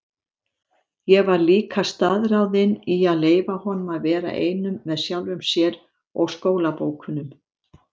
Ég var líka staðráðin í að leyfa honum að vera einum með sjálfum sér-og skólabókunum.